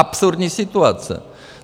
Absurdní situace.